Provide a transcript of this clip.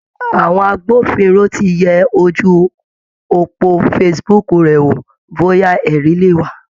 Àwọn agbófinró ti yẹ ojú òpó Facebook rẹ̀ wò bóyá ẹ̀rí leè wà.